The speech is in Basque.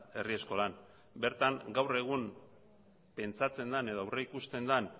herri eskolan bertan gaur egun pentsatzen den edo aurreikusten den